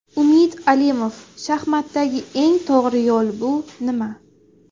Umid Alimov Shaxmatdagi eng to‘g‘ri yo‘l bu nima?